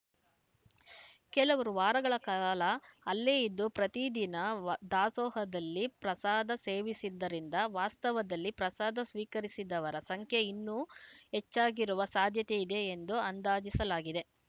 ಕೆಲವರು ವಾರಗಳ ಕಾಲ ಅಲ್ಲೇ ಇದ್ದು ಪ್ರತಿದಿನ ವ ದಾಸೋಹದಲ್ಲಿ ಪ್ರಸಾದ ಸೇವಿಸಿದ್ದರಿಂದ ವಾಸ್ತವದಲ್ಲಿ ಪ್ರಸಾದ ಸ್ವೀಕರಿಸಿದವರ ಸಂಖ್ಯೆ ಇನ್ನೂ ಹೆಚ್ಚಾಗಿರುವ ಸಾಧ್ಯತೆ ಇದೆ ಎಂದು ಅಂದಾಜಿಸಲಾಗಿದೆ